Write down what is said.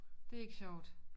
Det ikke sjovt